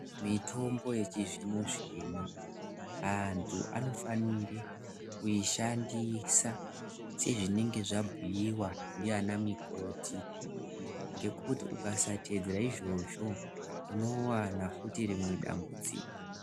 Mitombo yechizvino-zvino antu anofanire kuishandise sezvinenge zvabhuiwa ndiana mikoti. Ngekuti ukasateedzera izvozvo unowana futi rimwe dambudziko.